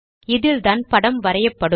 இதில்தான் படம் வரையப்படும்